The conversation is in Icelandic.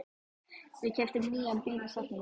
Við keyptum nýjan bíl í september.